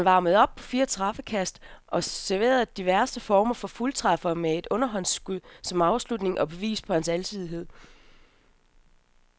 Han varmede op på fire straffekast og serverede diverse former for fuldtræffere med et underhåndsskud som afslutningen og beviset på hans alsidighed.